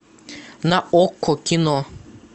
на окко кино